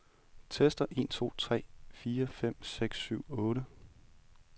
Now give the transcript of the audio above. Tester en to tre fire fem seks syv otte.